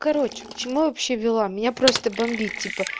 короче к чему я вообще вела меня просто бомбит типа